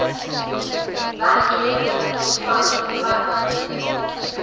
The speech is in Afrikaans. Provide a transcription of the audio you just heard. werkgewer ontvang terwyl